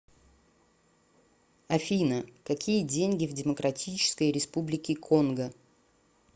афина какие деньги в демократической республике конго